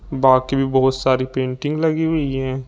बाकी भी बहुत सारी पेंटिंग्स लगी हुई है।